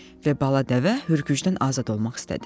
Və bala dəvə hürgücdən azad olmaq istədi.